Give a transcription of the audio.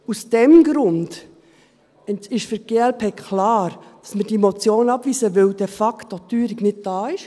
Aus diesem Grund ist für die glp klar, dass wir diese Motion abweisen, weil die Teuerung de facto nicht da ist.